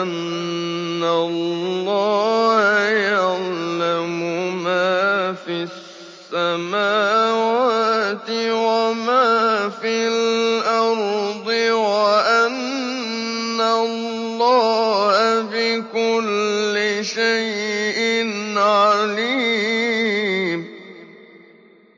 أَنَّ اللَّهَ يَعْلَمُ مَا فِي السَّمَاوَاتِ وَمَا فِي الْأَرْضِ وَأَنَّ اللَّهَ بِكُلِّ شَيْءٍ عَلِيمٌ